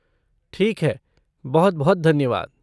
ठीक है! बहुत बहुत धन्यवाद।